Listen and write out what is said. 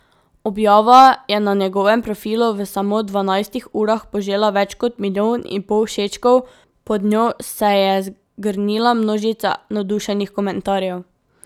Objava je na njegovem profilu v samo dvanajstih urah požela več kot milijon in pol všečkov, pod njo se je zgrnila množica navdušenih komentarjev.